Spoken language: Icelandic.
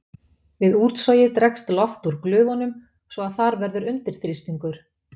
Við útsogið dregst loft úr glufunum svo að þar verður undirþrýstingur.